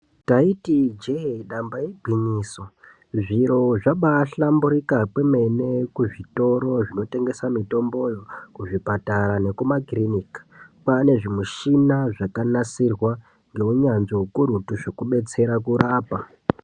Taiti ijee damba igwinyiso zviro zvabai hlamburika kwemene ku zvitoro zvino tengesa mitomboyo ku zvipatara neku makirinika kwane zvi mushina zvaka nasirwa nge unyanzvi ukurutu zveku betsera kurapa.